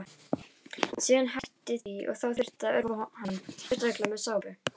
Síðan hætti hann því og þá þurfti að örva hann sérstaklega með sápu.